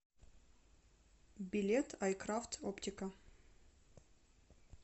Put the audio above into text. билет айкрафт оптика